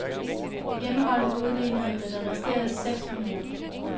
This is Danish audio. Hjemmeholdet udlignede da der resterede seks minutter.